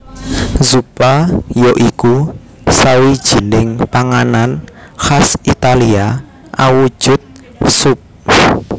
Zuppa ya iku sawijining panganan khas Italia awujud sup